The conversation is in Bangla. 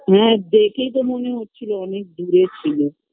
হ্যাঁ দেখেই তো মনে হচ্ছিলো অনেক দূরে ছিলো